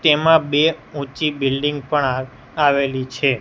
તેમા બે ઊંચી બિલ્ડિંગ પણ આવેલી છે.